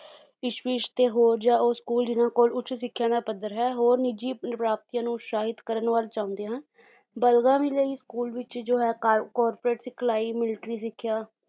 ਕਿਸ਼ਵਿਸ਼ ਤੇ ਹੋਰ ਜਾਂ ਉਹ school ਜਿੰਨਾ ਕੋਲ ਉੱਚ ਸਿੱਖਿਆ ਦਾ ਪੱਧਰ ਹੈ ਹੋਰ ਨਿੱਜੀ ਪ੍ਰਾਪਤੀਆਂ ਨੂੰ ਉਤਸ਼ਾਹਿਤ ਕਰਨ ਵੱਲ ਚਾਹੁੰਦੇ ਹਨ ਲਈ school ਵਿੱਚ ਜੋ ਹੈ ਕਾਰ corporate ਸਿਖਲਾਈ ਮਿਲਟਰੀ ਸਿੱਖਿਆ